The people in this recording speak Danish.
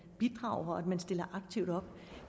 bidrager at man stiller aktivt op